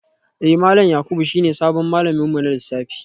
Eh malam Yakubu shine sabon malamin mu na lissafi